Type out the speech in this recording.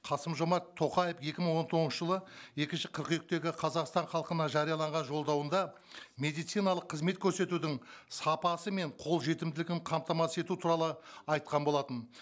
қасым жомарт тоқаев екі мың он тоғызыншы жылы екінші қыркүйектегі қазақстан халқына жарияланған жолдауында медициналық қызмет көрсетудін сапасы мен қолжетімділігін қамтамасыз ету туралы айтқан болатын